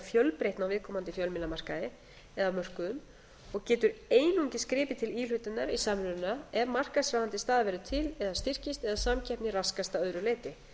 fjölbreytni á viðkomandi fjölmiðlamarkaði eða mörkuðum og getur einungis gripið til íhlutunar í samruna ef markaðsráðandi staða verður til eða styrkist eða samkeppni raskast að öðru leyti